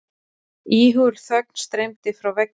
Íhugul þögn streymdi frá veggjum.